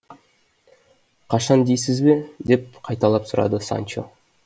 қашан дейсіз бе деп қайталап сұрады санчо